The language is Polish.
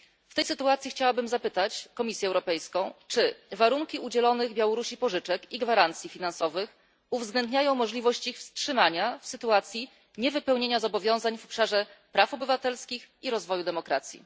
W tej sytuacji chciałabym zapytać Komisję Europejską, czy warunki udzielonych Białorusi pożyczek i gwarancji finansowych uwzględniają możliwość ich wstrzymania w sytuacji niewypełnienia zobowiązań w obszarze praw obywatelskich i rozwoju demokracji?